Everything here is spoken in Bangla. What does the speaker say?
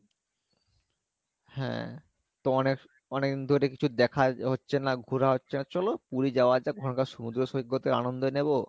হ্যাঁ তো অনেক অনেক~অনেকদিন ধরে কিছু দেখা হচ্ছে না ঘুরা হচ্ছে না চলো পুরি যাওয়া যাক ওখানকার সমুদ্র সৈকতে আনন্দ নেবো,